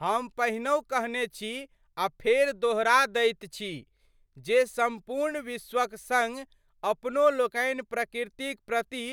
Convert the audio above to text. हम पहिनहुँ कहने छी आ फेर दोहरा दैत छी जे सम्पूर्ण विश्वक सड अपनो लोकनि प्रकृतिक प्रति